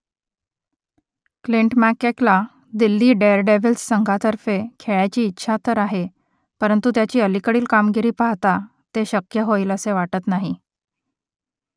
Clint मॅककेला Delhi Daredevils संघातर्फे खेळायची इच्छा तर आहे परंतु त्याची अलीकडील कामगिरी पाहता ते शक्य होईलसे वाटत नाही